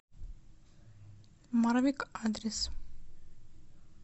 марвик адрес